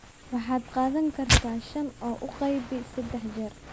waxaad qaadan kartaa shan oo u qaybi saddex jeer